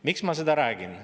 Miks ma seda räägin?